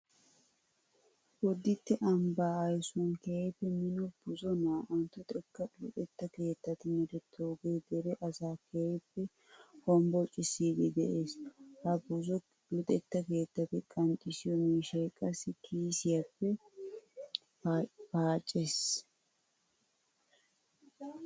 Bodditte ambbaa aysuwan keehippe mino buzo naa"antto xekkaa luxetta keettati merettidoogee dere asaa keehippe hombbocissiiddi de'ees. Ha bzo luxetta keettati qanxxissiyo miishshay qassi kiisiya paaccees.